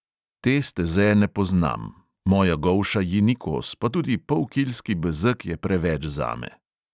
Te steze ne poznam, moja golša ji ni kos, pa tudi polkilski bezeg je preveč zame.